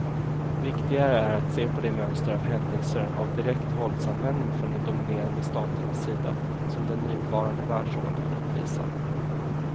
Viktigare är att se på det mönster av händelser av direkt våldsanvändning från de dominerande staternas sida som den nuvarande världsordningen uppvisar.